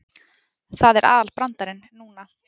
Það er aðalbrandarinn núna.